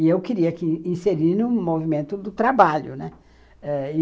E eu queria que, inserir no movimento do trabalho, né. Eh